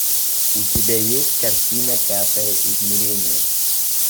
у тебя есть картина пятое измерение